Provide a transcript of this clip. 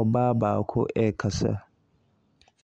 ɔbaa baako rekasa.